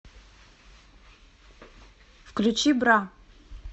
включи бра